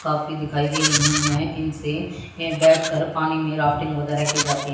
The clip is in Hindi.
काफी दिखाई दे रही है इनसे ये बैठकर पानी में राफ्टिंग वगैरा की जाती--